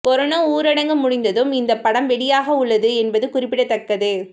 corona ஊரடங்கு முடிந்ததும் இந்த படம் வெளியாக உள்ளது என்பது குறிப்பிடத்தக்கது